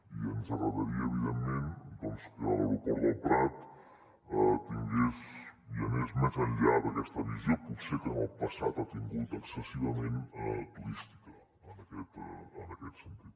i ens agradaria evident·ment que l’aeroport del prat anés més enllà d’aquesta visió potser que en el passat ha tingut excessivament turística en aquest sentit